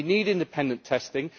We need independent testing